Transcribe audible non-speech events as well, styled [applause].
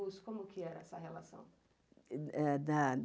como que era essa relação? [unintelligible]